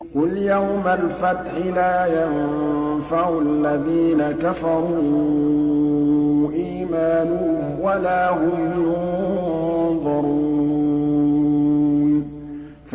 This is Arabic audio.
قُلْ يَوْمَ الْفَتْحِ لَا يَنفَعُ الَّذِينَ كَفَرُوا إِيمَانُهُمْ وَلَا هُمْ يُنظَرُونَ